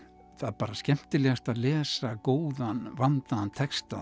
bara skemmtilegast að lesa góðan vandaðan texta